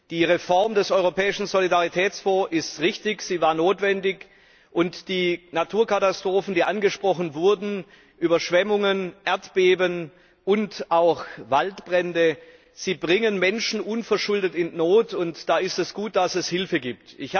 Die Reform des Europäischen Solidaritätsfonds ist richtig und sie war notwendig. Die Naturkatastrophen, die angesprochen wurden Überschwemmungen, Erdbeben und auch Waldbrände bringen Menschen unverschuldet in Not, und da ist es gut, dass es Hilfe gibt.